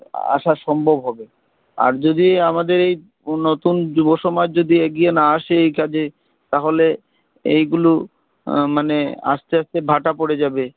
আসা সম্ভব হবে আর যদি আমাদের এই নতুন যুব সমাজ যদি এগিয়ে না আসে এই কাজে তাহলে এগুলো মানে আস্তে আস্তে ভাটা পড়ে যাবে